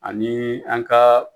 Ani an kaa